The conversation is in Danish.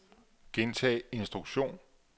gentag instruktion